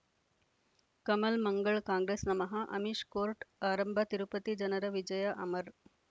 ಕಮಲ್ ಮಂಗಳ್ ಕಾಂಗ್ರೆಸ್ ನಮಃ ಅಮಿಷ್ ಕೋರ್ಟ್ ಆರಂಭ ತಿರುಪತಿ ಜನರ ವಿಜಯ ಅಮರ್